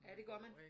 Ja det gør man